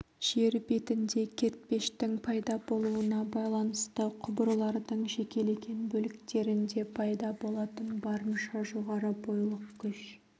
жер бетінде кертпештің пайда болуына байланысты құбырлардың жекелеген бөліктерінде пайда болатын барынша жоғары бойлық күш